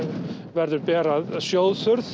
verður ber að sjóðþurrð